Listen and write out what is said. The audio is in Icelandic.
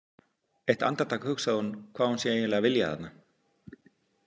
Eitt andartak hugsar hún hvað hún sé eiginlega að vilja þarna.